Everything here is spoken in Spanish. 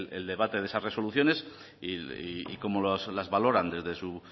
el debate de esas resoluciones y cómo las valoran desde su